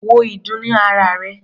Wo ìdun ní ara rè.